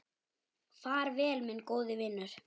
Far vel, minn góði vinur.